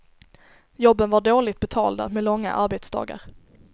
Jobben var dåligt betalda, med långa arbetsdagar.